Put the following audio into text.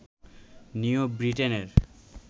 new ব্রিটেনের